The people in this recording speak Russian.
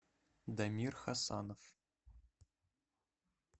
дамир хасанов